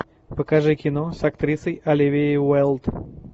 покажи кино с актрисой оливией уайлд